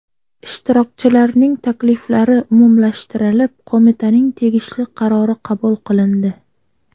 Ishtirokchilarning takliflari umumlashtirilib, qo‘mitaning tegishli qarori qabul qilindi.